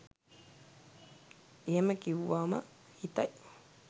එහෙම කිව්වම හිතයි